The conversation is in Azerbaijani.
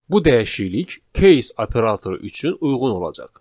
Bu dəyişiklik case operatoru üçün uyğun olacaq.